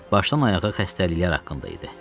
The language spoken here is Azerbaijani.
Başdan ayağa xəstəliklər haqqında idi.